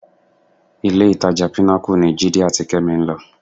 Ilé-ìtajà Pinnacle ni Jídé àti Kẹ́mi ń lọ